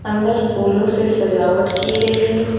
अंदर फूलों से सजावट की गई है।